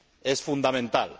es fundamental.